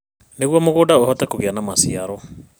Nĩguo mũgũnda ũhote kũgĩa na maciaro